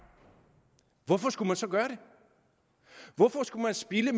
hvorfor skulle man så gøre det hvorfor skulle man spilde